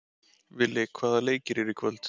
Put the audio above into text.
Villi, hvaða leikir eru í kvöld?